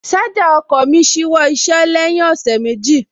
Ṣájà ọkọ̀ mí ṣíwọ́ iṣẹ́ lẹ́yìn ọ̀sẹ̀ méjì